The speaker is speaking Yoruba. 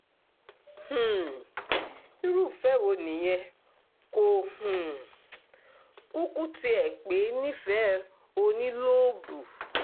um irú ìfẹ́ wo nìyẹn kò um kúkú tiẹ̀ pè é nífẹ̀ẹ́ ò ní lóòbù